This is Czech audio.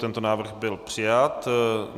Tento návrh byl přijat.